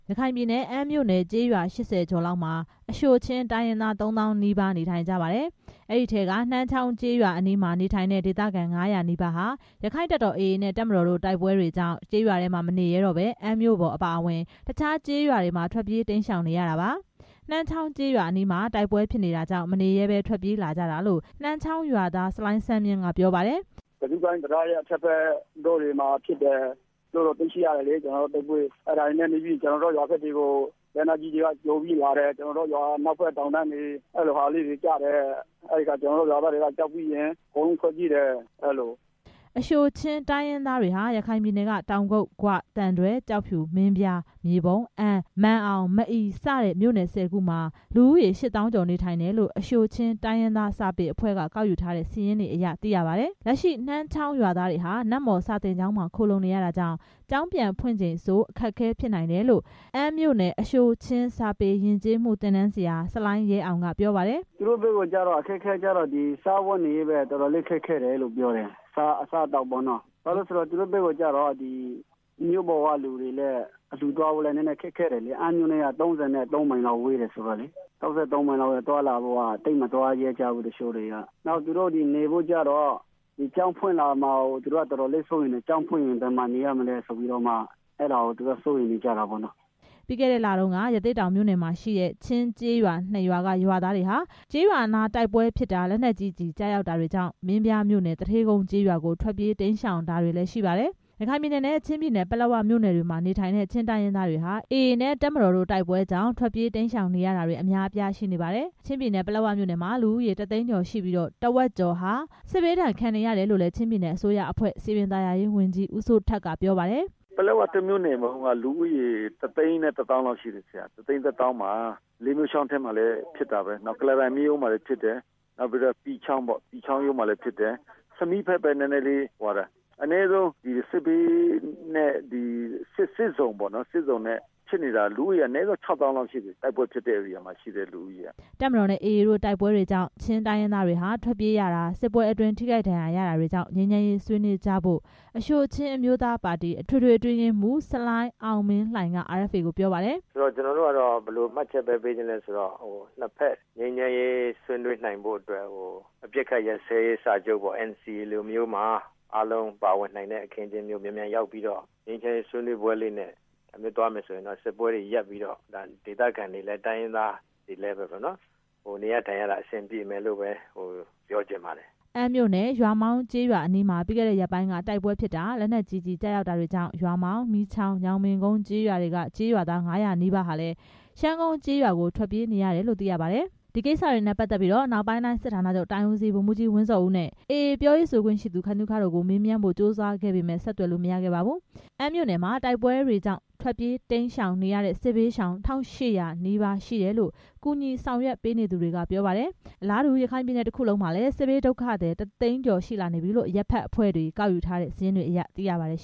ရခိုင်ပြည်နယ် အမ်းမြို့နယ်က ကျေးရွာ ၈၀ ကျော်လောက်မှာ အရှိုချင်းတိုင်းရင်းသား သုံးသောင်းနီးပါး နေထိုင်ကြပါတယ်။ အဲဒီထဲက နှမ်းချောင်းကျေးရွာ အနီးမှာ နေထိုင်တဲ့ ဒေသခံ ၅၀၀ နီးပါးဟာ ရက္ခိုင့်တပ်တော် AA နဲ့ တပ်မတော်တို့ တိုက်ပွဲတွေကြောင့် ကျေးရွာတွေမှာ မနေရဲတော့ဘဲ အမ်းမြို့ပေါ် အပါအဝင် တခြားကျေးရွာတွေမှာ ထွက်ပြေး တိမ်းရှောင်နေရတာပါ။ နှမ်းချောင်းကျေးရွာအနီးမှာ တိုက်ပွဲဖြစ်နေတာကြောင့် မနေရဲတော့ဘဲ ထွက်ပြေးလာကြတာလို့ နှမ်းချောင်းရွာသား ဆလိုင်းစန်းမြင့်ကပြောပါတယ်။ "တံတားရဲ့ အထက်ဖက်တွေမှာ တိုက်ပွဲတွေဖြစ်တယ်လို့တော့ သိရတယ်လေ ကျွန်တော်တို့ ရွာကို လက်နက်ကြီးတွေက ကျော်ပြီးလာတယ် ရွာအနောက်ဖက်တောင်တန်းတွေဆီကျတယ်။ ရွာက ကြောက်ပြီး အကုန်ထွက်ပြေးတယ်။" အရှိုချင်းတိုင်းရင်းသားတွေဟာ ရခိုင်ပြည်နယ်က တောင်ကုတ်၊ ဂွ၊ သံတွဲ၊ ကျောက်ဖြူ၊ မင်းပြား၊ မြေပုံ၊ အမ်း၊ မာန်အောင်၊ မအီ စတဲ့မြို့နယ် ၁၀ ခုမှာ လူဦးရေ ၈ သောင်းကျော် နေထိုင်တယ်လို့ အရှိုချင်းတိုင်းရင်းသား စာပေအဖွဲ့က ကောက်ယူထားတဲ့ စာရင်းတွေအရ သိရပါတယ်။ လက်ရှိ နှမ်းချောင်းရွာသားတွေဟာ နတ်မော်စာသင်ကျောင်းမှာ ခိုလှုံနေရတာကြောင့် ကျောင်းပြန်ဖွင့်ချိန်ဆို အခက်အခဲ ဖြစ်နိုင်တယ်လို့ အမ်းမြို့နယ် အရှိုချင်းစာပေယဉ်ကျေးမှုသင်တန်းဆရာ ဆလိုင်းရဲအောင်က ပြောပါတယ်။ ကျောင်းဖွင့်မှာကိုစိုးရိမ်နေကြတယ် ကျောင်းဖွင့်ရင် သူတို့ ဘယ်မှာနေရမလဲ မသိဘူးလေ "စားဝတ်နေရေး တော်တော်လေး ခက်ခဲတယ်လို့ ပြောတယ်။ သူတို့ဘက်က မြို့ပေါ်ကလူတွေ သွားဖို့ ခက်ခဲတယ် အမ်းမြို့နဲ့က ၃၃ မိုင်လောက် ဝေးတယ်လေ။ သွားလာဖို့ သိပ်မသွားရဲကြဘူး။ တချို့တွေက နေဖို့အတွက်ကလည်း ကျောင်းဖွင့်မှာကိုစိုးရိမ်နေကြတယ် ကျောင်းဖွင့်ရင် သူတို့ ဘယ်မှာနေရမလဲ မသိဘူးလေ" ပြီးခဲ့တဲ့လတုန်းက ရသေ့တောင်မြို့နယ်မှာရှိတဲ့ ချင်းကျေးရွာ နှစ်ရွာက ရွာသားတွေဟာ ကျေးရွာတွေနား တိုက်ပွဲဖြစ်တာ၊ လက်နက်ကြီးကျည်ကျတာတွေကြောင့် မင်းပြားမြို့နယ် သူဌေးကုန်းကျေးရွာကို ထွက်ပြေး တိမ်းရှောင်းတာတွေရှိပါတယ် ရခိုင်ပြည်နယ်နဲ့ ချင်းပြည်နယ် ပလက်ဝမြို့နယ်တွေမှာ နေထိုင်တဲ့ ချင်းတိုင်းရင်းသားတွေဟာ AAနဲ့ အစိုးရတပ်မတော် တိုက်ပွဲတွေကြောင့် ထွက်ပြေး တိမ်းရှောင်နေရတာတွေ အများအပြားရှိပါတယ်။ ချင်းပြည်နယ် ပလက်ဝမြို့နယ်မှာ လူဦးရေ တစ်သိန်းကျော်ရှိပြီး ထက်ဝက်ကျော်ဟာ စစ်ဘေးဒဏ် ခံစားနေရတယ်လို့ ချင်းပြည်နယ်အစိုးရအဖွဲ့ စည်ပင်သာယာရေးဝန်ကြီး ဦးစိုးထက်က ပြောပါတယ်။ "ပလက်ဝမြို့နယ် လူဦးရေ တစ်သိန်းတစ်သောင်းမှာ တိုက်ပွဲက လေးမြို့ချောင်းမှာလဲဖြစ်တယ် ကုလားတန်မြစ်ရိုးမှာလည်းဖြစ်တယ် အနည်းဆုံးစစ်ဇုံပေါ့နော် ဖြစ်နေတာ လူဦးရေက အနည်းဆုံး ‌ခြောက်သောင်းလောက်ရှိနေပြီ တိုက်ပွဲဖြစ်တဲ့ ဧရိယာမှာရှိတဲ့ လူဦးရေက။" တပ်မတော်နဲ့ AA တိုက်ပွဲတွေကြောင့် ချင်းတိုင်းရင်းသားတွေဟာ ထွက်ပြေးရတာတွေ၊ စစ်ပွဲအတွင်း ထိခိုက်ဒဏ်ရာ ရတာတွေကြောင့် ငြိမ်းချမ်းရေးဆွေးနွေးကြဖို့ အရှိုချင်းအမျိုးသားပါတီ အထွေထွေအတွင်းရေးမှူး ဆလိုင်းအောင်မင်းလှိုင်က RFA ကိုပြောပါတယ်။ "နှစ်ဘက်ငြိမ်းချမ်းရေးဆွေးနွေးနိုင်ဖို့ အပစ်ရပ်စဲရေးစာချုပ် NCA လိုမျိုးမှာ အားလုံးပါဝင်နိုင်တဲ့ အခင်းအကျင်းမျိုး မြန်မြန်ရောက်ပြီး ငြိမ်းချမ်းရေးဆွေးပွဲနဲ့ သွားမယ်ဆိုရင် စစ်ပွဲတွေ မြန်မြန်ရပ်ပြီး တိုင်းရင်းသားတွေလဲ နေရထိုင်ရတာ အဆင်ပြေမယ်လို့ ပြောချင်ပါတယ်။" အမ်းမြို့နယ် ရွာမောင်းကျေးရွာအနီးမှာ ပြီးခဲ့တဲ့ ရက်ပိုင်းက တိုက်ပွဲဖြစ်တာ၊ လက်နက်ကြီးကျည် ကျရောက်တာတွေကြောင့် ရွာမောင်း၊ မီးချောင်း၊ ညောင်ပင်ကုန်ကျေးရွာတွေက ရွာသား ၅၀၀ နီးပါးလည်း ရှမ်းကုန်းကျေးရွာကို ထွက်ပြေးနေရတယ်လို့ သိရပါတယ်။ ဒီကိစ္စတွေနဲ့ ပတ်သက်ပြီး အနောက်ပိုင်းတိုင်း စစ်ဌာနချုပ်တိုင်းဦးစီး ဗိုလ်မှူးကြီး ဝင်းဇော်ဦးနဲ့ AA ပြောရေးဆိုခွင့်ရှိသူ ခိုင်သုခတို့ကို မေးမြန်းဖို့ ကြိုးစားခဲ့ပေမယ့် ဆက်သွယ်လို့ မရခဲ့ပါဘူး။ အမ်းမြို့နယ်မှာ တိုက်ပွဲတွေကြောင့် ထွက်ပြေးနေရတဲ့ စစ်ဘေးရှောင် ၁၈၀၀ နီးပါးရှိတယ်လို့ ကူညီ ဆောင်ရွက်နေသူတွေကပြောပါတယ်။ အလားတူ ရခိုင်ပြည်နယ် တစ်ခုလုံးမှာ စစ်ဘေးဒုက္ခသည် တစ်သိန်းကျော် ရှိလာပြီလို့ အရပ်ဘက်အဖွဲ့တွေ ကောက်ယူထားတဲ့ စာရင်းတွေ အရသိရပါတယ်